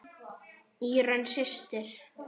Írunn systir.